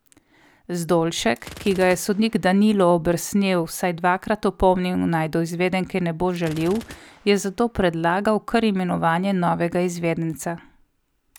Zdolšek, ki ga je sodnik Danilo Obersnel vsaj dvakrat opomnil naj do izvedenke ne bo žaljiv, je zato predlagal kar imenovanje novega izvedenca.